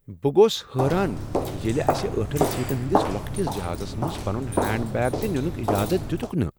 بہٕ گوس حٲران ییٚلہ اسہ ٲٹھن سیٹن ہٕندِس لۄکٹس جہازس منٛز پنن ہینڈ بیگ تِہ ننک اجازت دِتُکھ نہٕ۔